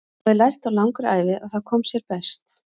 Hann hafði lært á langri ævi að það kom sér best.